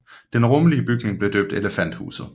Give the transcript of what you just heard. Den rummelige bygning blev døbt Elefanthuset